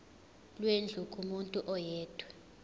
lwendlu kumuntu oyedwa